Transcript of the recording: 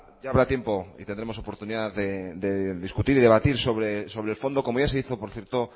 ya habrá tiempo y tendremos oportunidad de discutir y de debatir sobre el fondo como ya se hizo por cierto